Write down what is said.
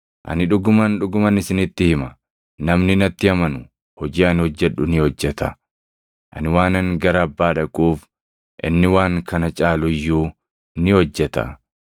Ani dhuguman, dhuguman isinitti hima; namni natti amanu hojii ani hojjedhu ni hojjeta. Ani waanan gara Abbaa dhaquuf inni waan kana caalu iyyuu ni hojjeta.